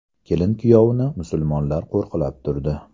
Kelin-kuyovni musulmonlar qo‘riqlab turdi.